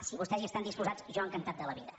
si vostès hi estan disposats jo encantat de la vida